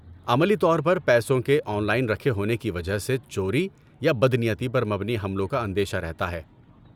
عملی طور پر پیسوں کے 'آن لائن' رکھے ہونے کی وجہ سے، چوری یا بدنیتی پر مبنی حملوں کا اندیشہ رہتا ہے۔